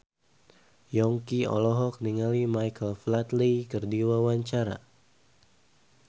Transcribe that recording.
Yongki olohok ningali Michael Flatley keur diwawancara